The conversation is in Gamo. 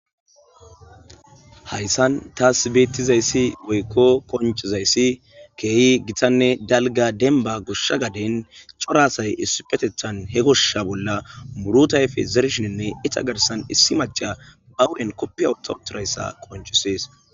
Haysan tas betizays woyko qoncizays kehi gitanne dalga denaba gosha gaden cora asay issipetethan he gosha bolla muruta ayfe zerishinne iza garsan issi maca ba huphe kofiya wotha wotha wothidaysa qoncises